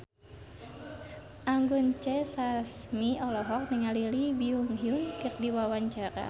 Anggun C. Sasmi olohok ningali Lee Byung Hun keur diwawancara